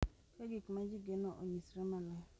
Ka gik ma ji geno onyisre maler,